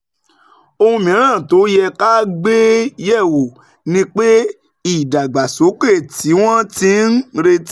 Ohun mìíràn tó yẹ ká gbé yẹ̀ wò ni pé ìdàgbàsókè tí wọ́n ti ń retí